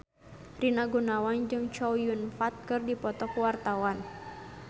Rina Gunawan jeung Chow Yun Fat keur dipoto ku wartawan